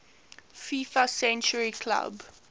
fifa century club